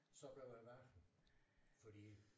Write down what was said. Så blev man bange fordi